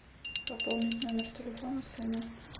пополнить номер телефона сына